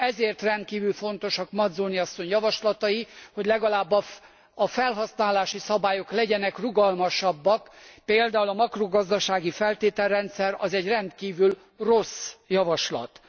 Ezért rendkívül fontosak Mazzoni képviselő asszony javaslatai, hogy legalább a felhasználási szabályok legyenek rugalmasabbak, például a makrogazdasági feltételrendszer egy rendkívül rossz javaslat.